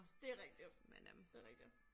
Det rigtigt det rigtigt